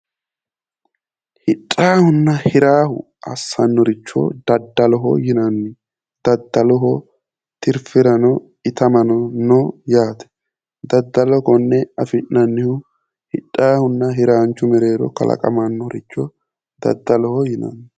Hidhaahunna hiraahu assannoricho daddaloho yinanni daddaloho tirifirano itamano no yaate daddalo konne afi'nanihu hidhaahuna hiraanichu mereero kalaqamannoricho daddaloho yinanni